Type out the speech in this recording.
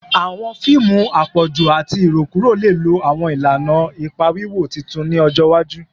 Awọn fiimu apọju ati irokuro le lo awọn ilana ipa wiwo tuntun ni ọjọ iwaju